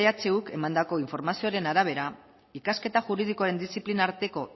ehuk emandako informazioaren arabera ikasketa juridikoaren diziplinen arteko